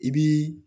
I bii